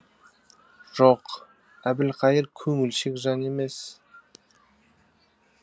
жоқ әбілқайыр көңілшек жан емес